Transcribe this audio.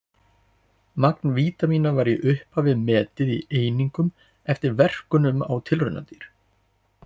Magn vítamína var í upphafi metið í einingum eftir verkunum á tilraunadýr.